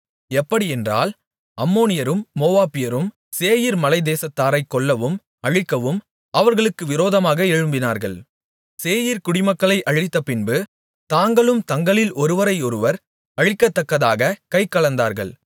எப்படியென்றால் அம்மோனியரும் மோவாபியரும் சேயீர் மலைத்தேசத்தாரைக் கொல்லவும் அழிக்கவும் அவர்களுக்கு விரோதமாக எழும்பினார்கள் சேயீர் குடிமக்களை அழித்த பின்பு தாங்களும் தங்களில் ஒருவரையொருவர் அழிக்கத்தக்கதாகக் கைகலந்தார்கள்